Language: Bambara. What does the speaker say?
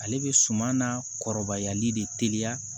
Ale bɛ suman na kɔrɔbayali de teliya